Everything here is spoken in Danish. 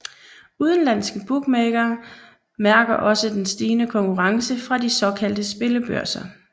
Udenlandske bookmakere mærker også den stigende konkurrence fra de såkaldte spillebørser